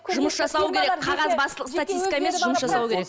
жұмыс жасау керек қағазбастылық статистика емес жұмыс жасау керек